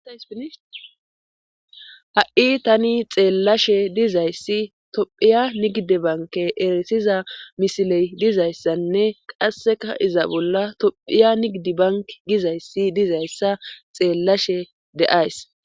sinha7i tani xeellashe dizayssi tophiya nigidi banke eresiza misiley dizayssanne qasseka iza bolla tophiya nigidi bank gizayssi dizayssa xeellashe deays